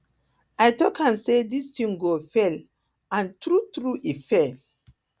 i talk am say dis thing go fail and true true e fail